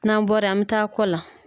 N'an bɔra yen an m taa kɔ la